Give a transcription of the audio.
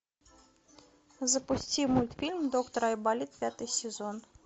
запусти мультфильм доктор айболит пятый сезон